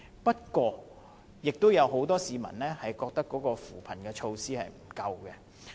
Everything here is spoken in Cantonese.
不過，亦有很多市民覺得扶貧措施不足。